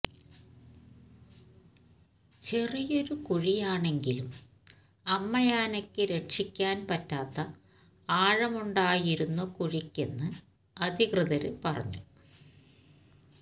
ചെറിയൊരു കുഴിയാണെങ്കിലും അമ്മയാനയ്ക്ക് രക്ഷിക്കാന് പറ്റാത്ത ആഴമുണ്ടായിരുന്നു കുഴിക്കെന്ന് അധികൃതര് പറഞ്ഞു